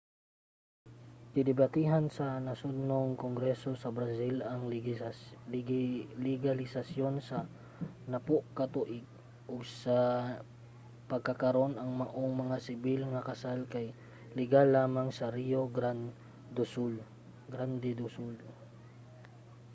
gidebatehan sa nasodnong kongreso sa brazil ang legalisasiyon sa 10 ka tuig ug sa pagkakaron ang maong mga sibil nga kasal kay legal lamang sa rio grande do sul